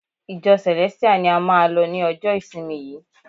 Ìjọ Celestial ni a máà lọ ni ọjọ ìsinmi yìí.